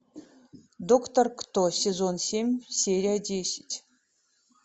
доктор кто сезон семь серия десять